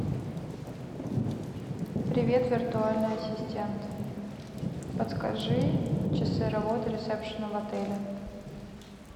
привет виртуальный ассистент подскажи часы работы ресепшена в отеле